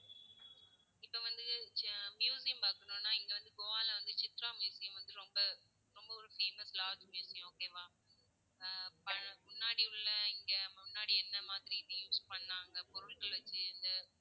இப்போ வந்து ச்~ museum பார்க்கணும்னா, இங்க வந்து கோவால வந்து சித்ரா மியூசியம் வந்து ரொம்ப ரொம்ப ஒரு famous large museum okay வா. ஹம் பழ~முன்னாடி உள்ள இங்க முன்னாடி எந்த மாதிரி இது use பண்ணாங்க பொருள்கள் வச்சு இந்த